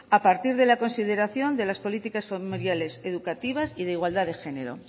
a partir de la consideración de las políticas familiares educativa y de igualdad de género